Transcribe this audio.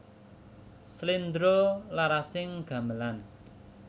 Slendra larasing gamelan